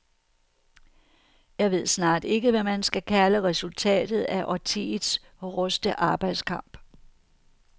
Jeg ved snart ikke, hvad man skal kalde resultatet af årtiets hårdeste arbejdskamp.